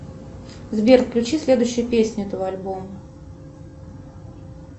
сбер включи следующую песню этого альбома